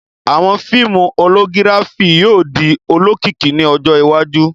Awọn fiimu Hologirafi yóò di olokiki ni ọjọ iwaju